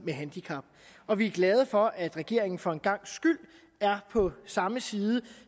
med handicap og vi er glade for at regeringen for en gangs skyld er på samme side